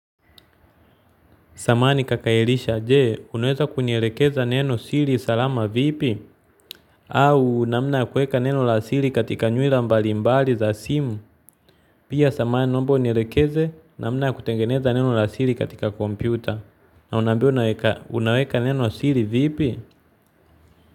Zamani kakaelisha, jee, unaweza kunielekeza neno siri salama vipi? Au, namna ya kuweka neno la siri katika nywila mbalimbali za simu? Pia, samahani naomba unielekeze, namna ya kutengeneza neno la siri katika kompyuta. Niambie unaweka neno siri vipi?